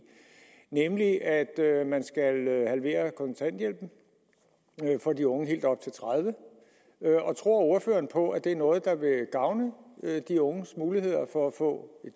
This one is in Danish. nemlig at man skal halvere kontanthjælpen for de unge helt op til tredive år og tror ordføreren på at det er noget der vil gavne de unges muligheder for at få